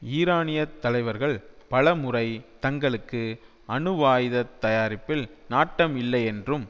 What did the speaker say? ஈரானியத் தலைவர்கள் பலமுறை தங்களுக்கு அணுவாயுத தயாரிப்பில் நாட்டம் இல்லையென்றும்